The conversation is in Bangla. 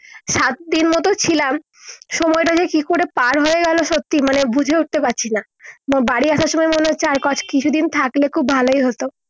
সাত দিন মত ছিলাম সময়টা যে কি করে পার হয়ে গেলো সত্যি মানে বুঝে উঠতে পারছি না বা বাড়ি আসার সময় মনে হচ্ছে আর কট কিছু দিন থাকলে খুব ভালোই হত